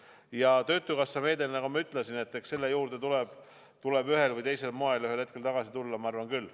Ja töötukassa meetme juurde tuleb ühel või teisel moel ühel hetkel tagasi tulla, ma arvan küll.